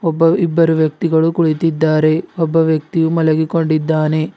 ಒಬ್ಬ ಇಬ್ಬರು ವ್ಯಕ್ತಿಗಳು ಕುಳಿತಿದ್ದಾರೆ ಒಬ್ಬ ವ್ಯಕ್ತಿಯು ಮಲಗಿಕೊಂಡಿದ್ದಾನೆ.